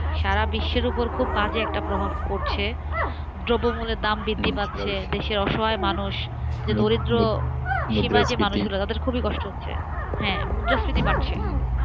সারা বিশ্বের উপর খুব বাজে একটা প্রভাব পড়ছেদ্রব্যমূল্যের দাম বৃদ্ধি পাচ্ছে, দেশের অসহায় মানুষ যে দরিদ্রসীমার মানুষগুলো তাদের খুবই কষ্ট হচ্ছেহ্যাঁমুদ্রাস্ফীতি বাড়ছে,